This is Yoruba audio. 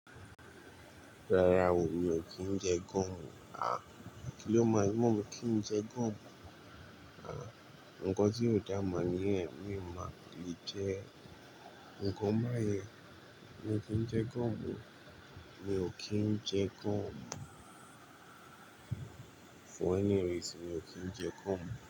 Rárá o, mi ò kí ń jẹ gum. À, kí ló mọ̀ mí kí ń jẹ gúò? À, nǹkan tí ó dàá mọ̀ nìyen miò máa le jẹ. Nǹkan báyẹn mi ò kí n jẹ gọ́ọ̀mù o, mi ò kí ń jẹ gọ́ọ̀m. For any reason, mi ò kí ń jẹ gúò.